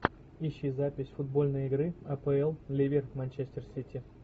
ищи запись футбольной игры апл ливер манчестер сити